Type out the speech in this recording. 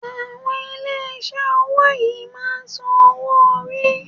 Àwọn ilé iṣé owó yìí máà ń sàn owo orí.